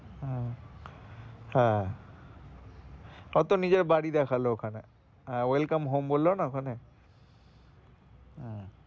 উহ হ্যাঁ ও তো নিজের বাড়ি দেখালো ওখানে welcome home বলল না ওখানে হম